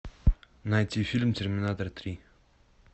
найти фильм терминатор три